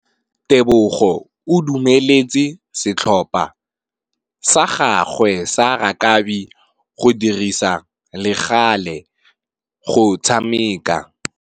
Tebogô o dumeletse setlhopha sa gagwe sa rakabi go dirisa le galê go tshameka.